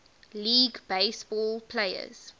league baseball players